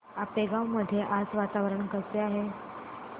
आपेगाव मध्ये आज वातावरण कसे आहे